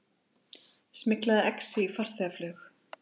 Smyglaði exi í farþegaflug